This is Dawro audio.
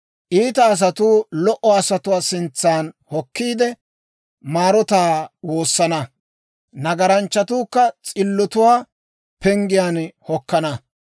Iita asatuu lo"o asatuwaa sintsan hokkiide, maarotaa woosana. Nagaranchchatuukka s'illotuwaa penggiyaan hokkana.